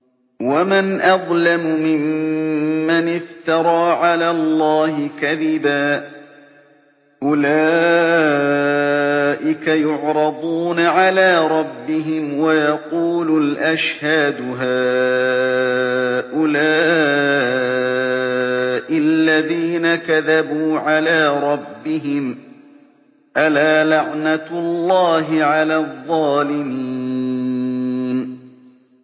وَمَنْ أَظْلَمُ مِمَّنِ افْتَرَىٰ عَلَى اللَّهِ كَذِبًا ۚ أُولَٰئِكَ يُعْرَضُونَ عَلَىٰ رَبِّهِمْ وَيَقُولُ الْأَشْهَادُ هَٰؤُلَاءِ الَّذِينَ كَذَبُوا عَلَىٰ رَبِّهِمْ ۚ أَلَا لَعْنَةُ اللَّهِ عَلَى الظَّالِمِينَ